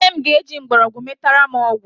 Nne m ga-eji mgbọrọgwụ metara m ọgwụ